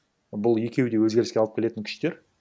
бұл екеуі де өзгеріске алып келетін күштер